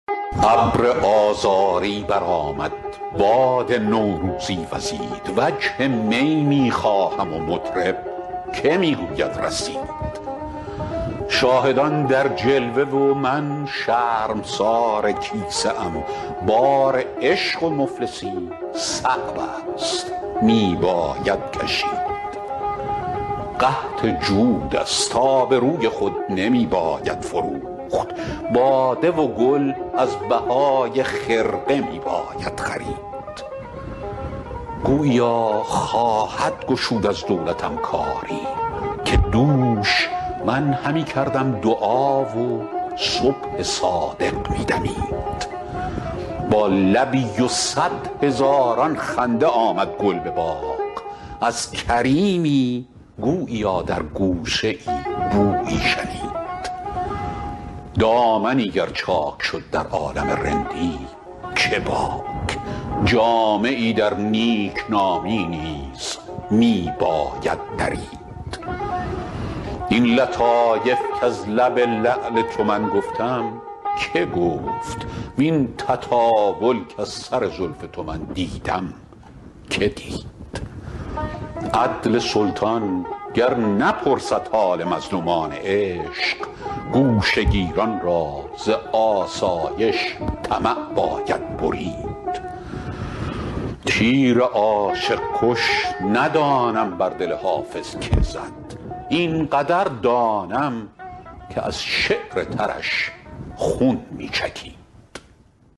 ابر آذاری برآمد باد نوروزی وزید وجه می می خواهم و مطرب که می گوید رسید شاهدان در جلوه و من شرمسار کیسه ام بار عشق و مفلسی صعب است می باید کشید قحط جود است آبروی خود نمی باید فروخت باده و گل از بهای خرقه می باید خرید گوییا خواهد گشود از دولتم کاری که دوش من همی کردم دعا و صبح صادق می دمید با لبی و صد هزاران خنده آمد گل به باغ از کریمی گوییا در گوشه ای بویی شنید دامنی گر چاک شد در عالم رندی چه باک جامه ای در نیکنامی نیز می باید درید این لطایف کز لب لعل تو من گفتم که گفت وین تطاول کز سر زلف تو من دیدم که دید عدل سلطان گر نپرسد حال مظلومان عشق گوشه گیران را ز آسایش طمع باید برید تیر عاشق کش ندانم بر دل حافظ که زد این قدر دانم که از شعر ترش خون می چکید